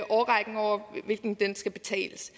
årrækken over hvilken den skal betales